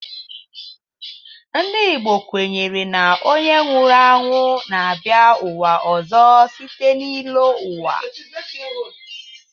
Ndị Igbo kwenyere na onye nwụrụ anwụ na-abịa ụwa ọzọ site n'ịlọ ụwa.